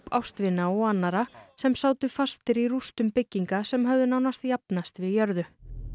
ástvina og annarra sem sátu fastir í rústum bygginga sem höfðu nánast jafnast við jörðu